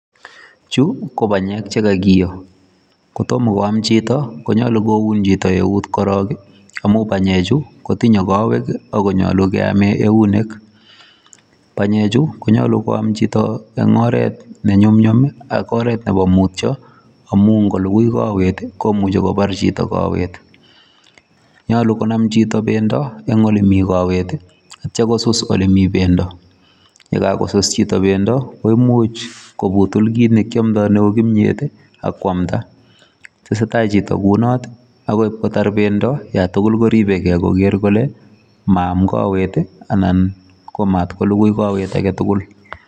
Chu ko banyek che kagiyo. Kotomo koam chito konyolu koun chito eut korong amun banyechu kotinye kowek ago nyolu keamen eunek. Banyeju ko nyolu koam chito en oret ne nyumnyum ak oret nebo mutyo amun ngolugui kowet komuche kobar chito kowet. Nyolu konam chito bendo en ole mi kowet ak kityo kosus ole mi bendo. Ye kagosus chito bendo koimuch kobutul kit ne kyomdo neu kimyet ak koamda. Tesetai chito kounoto agoi kotar bendo ye tugul koribe ge koger kole maam kowet anan komat kolugui kowet age tugul.